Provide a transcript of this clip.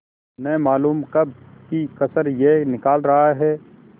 न मालूम कब की कसर यह निकाल रहा है